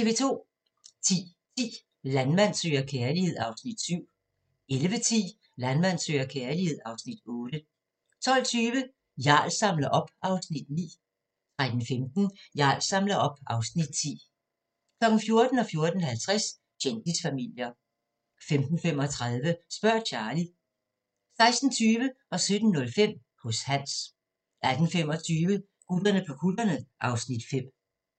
10:10: Landmand søger kærlighed (Afs. 7) 11:10: Landmand søger kærlighed (Afs. 8) 12:20: Jarl samler op (Afs. 9) 13:15: Jarl samler op (Afs. 10) 14:00: Kendisfamilier 14:50: Kendisfamilier 15:35: Spørg Charlie 16:20: Hos Hans 17:05: Hos Hans 18:25: Gutterne på kutterne (Afs. 5)